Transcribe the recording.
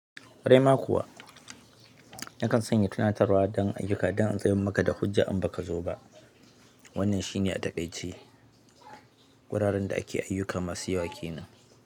Ƙwarai ma kuwa nakan sanya tunatarwa don ayyuka don in zayyanar maka da hujja in ba ka zo ba. Wannan shi ne a takaice wuraren da ake ayyuka masu yawa kenan.